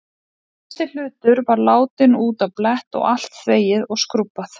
Hver einasti hlutur var látinn út á blett og allt þvegið og skrúbbað.